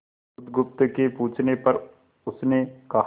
बुधगुप्त के पूछने पर उसने कहा